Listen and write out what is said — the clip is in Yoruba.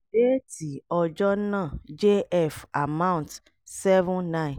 déètì ọjọ́ náà jf amount --- seven nine---